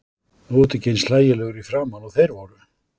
Þú ert ekki eins hlægilegur í framan og þeir voru.